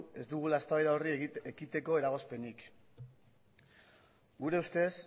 ez dugula eztabaida horri ekiteko eragozpenik gure ustez